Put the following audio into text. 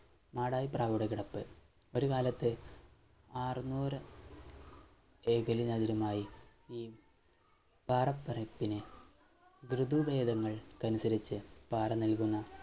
മാടായി പ്രാവുടെ കിടപ്പ് ഒരുകാലത്ത് ആറ് നൂറ് വൈകല്യ നഗരമായി ഈ പാറ പരപ്പിനെ ദൃതി പീഠങ്ങൾ ക്കനുസരിച്ച് നൽകുന്ന